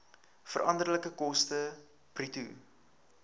veranderlike koste bruto